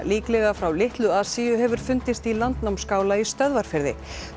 líklega frá Litlu Asíu hefur fundist í í Stöðvarfirði